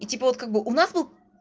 и типа вот как бы у нас бы